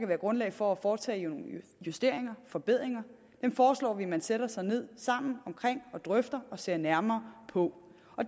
være grundlag for at foretage nogle justeringer forbedringer dem foreslår vi at man sætter sig ned sammen og drøfter og ser nærmere på